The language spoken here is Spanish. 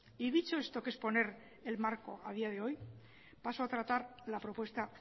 y dicho esto que es poner el marco a día de hoy paso a tratar la propuesta